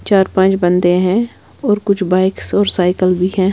चार-पाँच बंदे हैं और कुछ बाइक्स और साइकिल भी हैं।